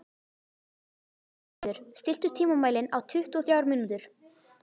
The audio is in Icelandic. Húnröður, stilltu tímamælinn á tuttugu og þrjár mínútur.